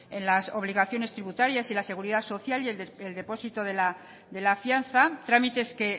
en las obligaciones tributarias y en la seguridad social y el depósito de la fianza trámites que